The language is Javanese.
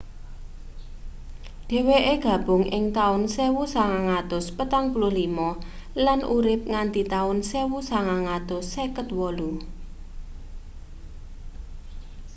dheweke gabung ing taun 1945 lan urip nganti taun 1958